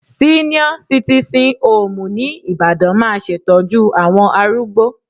Síníọ́ sitìsìn hoòmù ní Ibadan máa ṣètọ́jú àwọn arúgbó